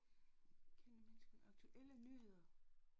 Kendte mennesker aktuelle nyheder